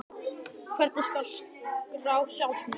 Hvernig skal skrá sjálfsmörk?